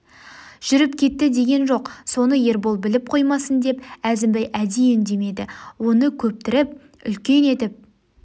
жүріп кетті деген жоқ соны ербол біліп қоймасын деп әзімбай әдейі үндемеді оны көптіріп үлкен етіп